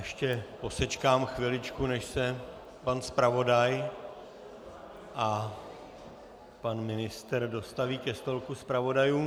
Ještě posečkám chviličku, než se pan zpravodaj a pan ministr dostaví ke stolku zpravodajů.